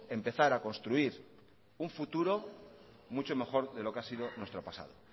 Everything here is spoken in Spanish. empezar a construir un futuro mucho mejor que lo que ha sido nuestro pasado